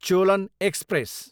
Cholan express